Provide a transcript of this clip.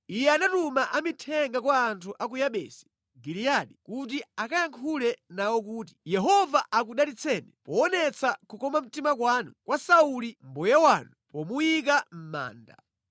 iye anatuma amithenga kwa anthu a ku Yabesi Giliyadi kuti akayankhule nawo kuti, “Yehova akudalitseni poonetsa kukoma mtima kwanu kwa Sauli mbuye wanu pomuyika mʼmanda.